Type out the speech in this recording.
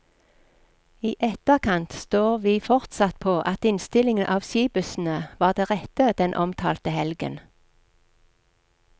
I etterkant står vi fortsatt på at innstilling av skibussene var det rette den omtalte helgen.